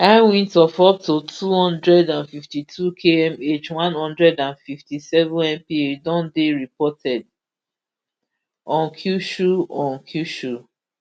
high winds of up to two hundred and fifty-two kmh one hundred and fifty-sevenmph don dey reported on kyushu on kyushu